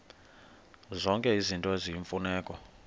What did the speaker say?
zonke izinto eziyimfuneko